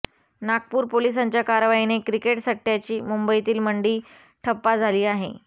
नागपूर पोलिसांच्या कारवाईने क्रिकेट सट्ट्याची मुंबईतील मंडी ठप्पा झाली आहे